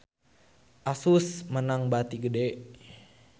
Asus meunang bati gede